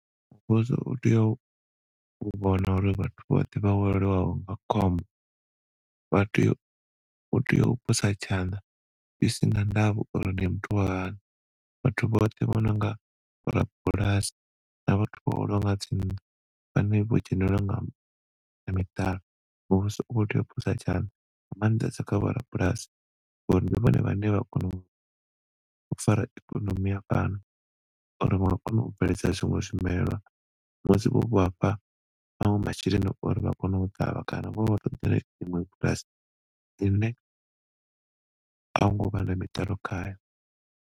Ṋne ndi vhona uri zwa khwiṋe uri vhathu vha xelelwe mapfura muvhilini ndi u gidima, ndi uḽa zwiḽiwa zwi sina mapfura manzhi hune zwi ḓo dovha zwa engedzela maṅwe mapfura ndi u ḽesa zwithu zwi re na pfushi. U rengisa zwithu zwa mitakalo zwino ḓo kona u vhungudzisa mapfura mivhilini ya vhathu ndi zwine, u sa rengisesa zwithu zwa mapfura manzhi kana u zwi ḽesa ndi zwone zwine zwi khou vhangela vhathu thaidzo mivhilini yavho.